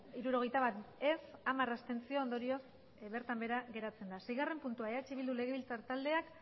hirurogeita bat ez hamar abstentzio ondorioz bertan behera geratzen da seigarren puntua eh bildu legebiltzar taldeak